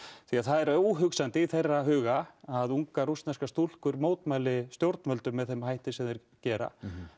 því það er óhugsandi í þeirra huga að ungar rússneskar stúlkur mótmæli stjórnvöldum með þeim hætti sem þeir gera